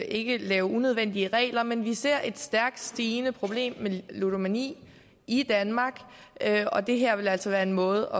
ikke lave unødvendige regler men vi ser et stærkt stigende problem med ludomani i danmark og det her vil altså være en måde